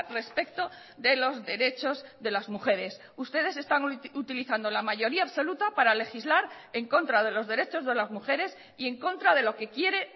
respecto de los derechos de las mujeres ustedes están utilizando la mayoría absoluta para legislar en contra de los derechos de las mujeres y en contra de lo que quiere